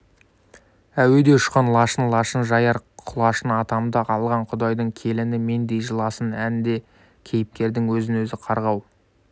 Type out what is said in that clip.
әуеде ұшқан лашын лашын жаяр құлашын атамды алған құдайдың келіні мендей жыласын әнде кейіпкердің өзін-өзі қарғау